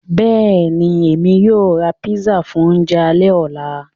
Bẹ́ẹ̀ni, Èmi yóò rá pízzà fún ọ̀unjẹ̀ àlẹ̀-ọlá.